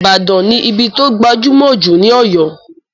Ìbàdàn ní ibí tó gbajúmọ̀ jù ní Ọ̀yọ́